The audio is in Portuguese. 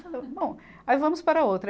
Bom, aí vamos para outra.